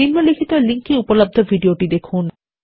নিম্নলিখিত লিঙ্ক এ উপলব্ধ ভিডিওটি দেখুন